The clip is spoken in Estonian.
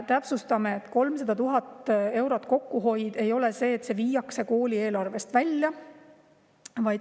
" Täpsustan, et 300 000 eurot kokkuhoidu ei seda, et see viiakse kooli eelarvest välja.